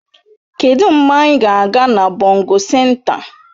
Kedụ mgbe anyị ga-aga na bongo senta?